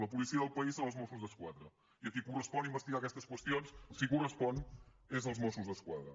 la policia del país són els mossos d’esquadra i a qui correspon investigar aquestes qüestions si correspon és als mossos d’esquadra